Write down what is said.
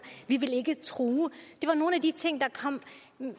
vi vil ikke true det var nogle af de ting det